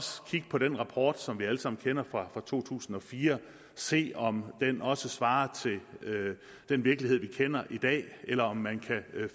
kigge på den rapport som vi alle sammen kender fra to tusind og fire og se om den også svarer til den virkelighed vi kender i dag eller om man kan